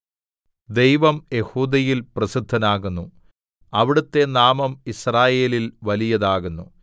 ദൈവം യെഹൂദയിൽ പ്രസിദ്ധനാകുന്നു അവിടുത്തെ നാമം യിസ്രായേലിൽ വലിയതാകുന്നു